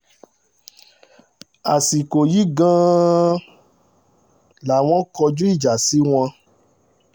àsìkò yìí gan-an làwọn kọjú ìjà sí wọn